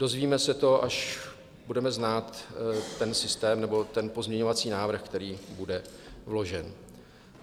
Dozvíme se to, až budeme znát ten systém, nebo ten pozměňovací návrh, který bude vložen.